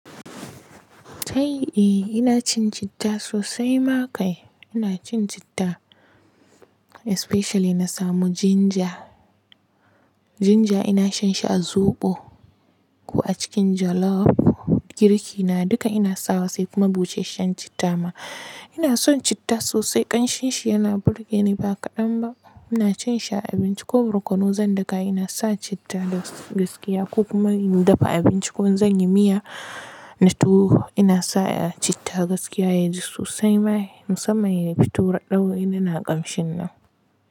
Eh ina cin citta sosai ma kai. Ina cin citta especially na samu ginger, ginger ina shan shi a zobo ko a cikin jollof, girki na duka ina sawa sai kuma busasshen shan citta ma. Ina son citta sosai ƙanshin shi yana burge ni ba kaɗan ba. Ina cin shi a abinci ko barkono zan daka ina sa citta da gaskiya ko kuma in dafa abinci ko zan yi miya na tuwo ina sa citta gaskiya yaji sosai ma musamman yayi fito raɗau inya na ƙamshin nan.